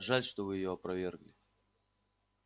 жаль что вы её опровергли